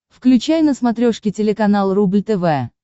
включай на смотрешке телеканал рубль тв